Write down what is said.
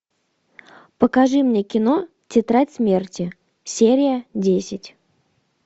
покажи мне кино тетрадь смерти серия десять